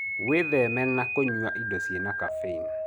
Wĩthemena kũnywa indo ciena Caffeine